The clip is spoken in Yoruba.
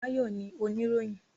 Báyọ̀ ni oníròyìn